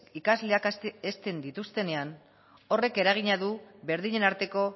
ikasleak hezten dituztenean horrek eragina du berdinen arteko